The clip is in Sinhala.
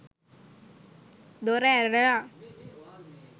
දොර ඇරලා